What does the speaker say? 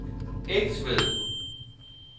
Egtved